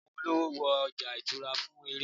awọn olówò wo oja ìṣura fún èrè